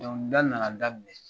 nana daminɛ.